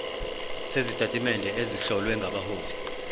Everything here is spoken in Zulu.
sezitatimende ezihlowe ngabahloli